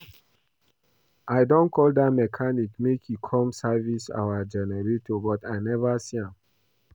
I don call dat mechanic make e come service our generator but I never see am